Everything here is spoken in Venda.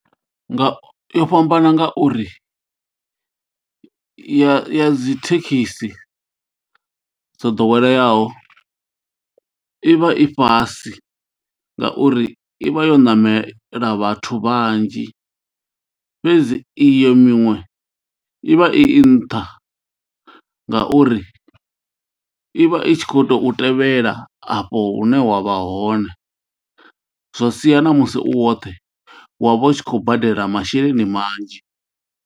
Nga yo fhambana ngauri ya ya dzi thekhisi dzo ḓoweleaho i vha i fhasi ngauri i vha yo ṋamela vhathu vhanzhi fhedzi iyo miṅwe i vha i nṱha ngauri ivha i tshi khou tou tevhela afho hune wa vha hone zwa sia namusi u woṱhe wa vha u tshi khou badela masheleni manzhi.